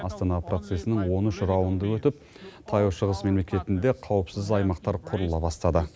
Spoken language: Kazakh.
астана процесінің он үш раунды өтіп таяу шығыс мемлекетінде қауіпсіз аймақтар құрыла бастады